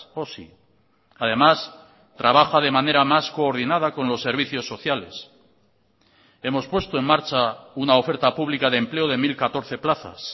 osi además trabaja de manera más coordinada con los servicios sociales hemos puesto en marcha una oferta pública de empleo de mil catorce plazas